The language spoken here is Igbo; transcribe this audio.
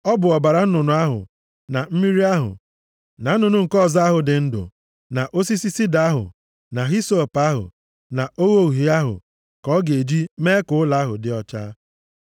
Ọ bụ ọbara nnụnụ ahụ, na mmiri ahụ, na nnụnụ nke ọzọ ahụ dị ndụ, na osisi sida ahụ na hisọp ahụ, na ogho uhie ahụ ka ọ ga-eji mee ka ụlọ ahụ dị ọcha.